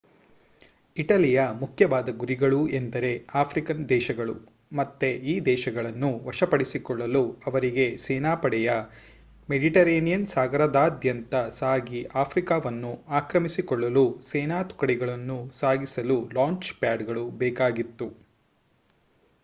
ಇಟಲಿಯ ಮುಖ್ಯವಾದ ಗುರಿಗಳು ಎಂದರೆ ಆಫ್ರಿಕನ್ ದೇಶಗಳು ಮತ್ತೆ ಈ ದೇಶಗಳನ್ನು ವಶಪಡಿಸಿಕೊಳ್ಳಲು ಅವರಿಗೆ ಸೇನಾಪಡೆಯು ಮೆಡಿಟರೇನಿಯನ್ ಸಾಗರದಾದ್ಯಂತ ಸಾಗಿ ಆಫ್ರಿಕಾವನ್ನು ಆಕ್ರಮಿಸಿಕೊಳ್ಳಲು ಸೇನಾ ತುಕಡಿಗಳನ್ನು ಸಾಗಿಸಲು ಲಾಂಚ್ ಪ್ಯಾಡ್ಗಳು ಬೇಕಾಗಿತ್ತು